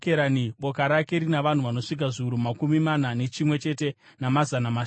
Boka rake rina vanhu vanosvika zviuru makumi mana nechimwe chete namazana mashanu.